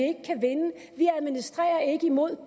administrerer ikke imod